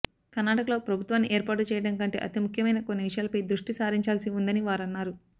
కర్ణాటకలో ప్రభుత్వాన్ని ఏర్పాటు చేయడం కంటే అతి ముఖ్యమైన కొన్ని విషయాలపై దృష్టి సారించాల్సి ఉందని వారన్నారు